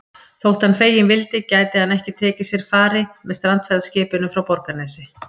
Þótt hann feginn vildi gæti hann ekki tekið sér fari með strandferðaskipinu frá Borgarnesi.